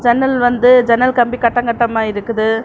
ஜன்னல் வந்து ஜன்னல் கம்பி கட்டங்கட்டமா இருக்குது.